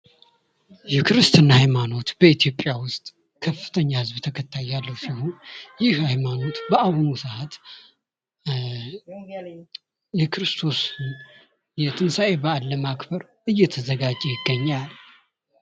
የክርስትና ሃይማኖት በኢትዮጵያ ውስጥ ከፍተኛ የህዝብ ተከታይ ያለው ሲሆን ይህ ሃይማኖት በአሁኑ ሰዓት የተንሳኤ በአል ለማክበር እየተዘጋጀ ይገኛል።